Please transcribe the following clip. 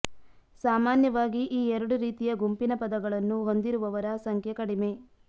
ಸಾಮಾನ್ಯವಾಗಿ ಈ ಎರಡು ರೀತಿಯ ಗುಂಪಿನ ಪದಗಳನ್ನು ಹೊಂದಿರುವವರ ಸಂಖ್ಯೆ ಕಡಿಮೆ